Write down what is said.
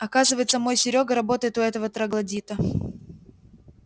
оказывается мой серёга работает у этого троглодита